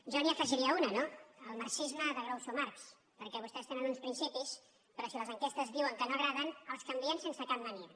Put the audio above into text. jo n’hi afegiria una no el marxisme de groucho marx perquè vostès tenen uns principis però si les enquestes diuen que no agraden els canvien sense cap mania